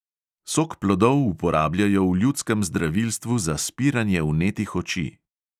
Sok plodov uporabljajo v ljudskem zdravilstvu za spiranje vnetih oči.